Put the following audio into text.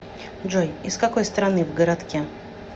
джой из какой страны в городке